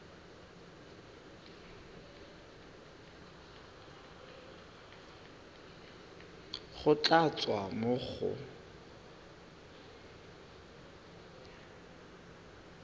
go tla tswa mo go